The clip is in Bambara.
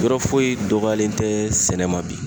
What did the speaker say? Yɔrɔ foyi dɔgɔyalen tɛ sɛnɛ ma bi.